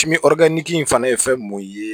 in fana ye fɛn mun ye